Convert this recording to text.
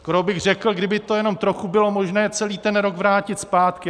Skoro bych řekl, kdyby to jenom trochu bylo možné, celý ten rok vrátit zpátky.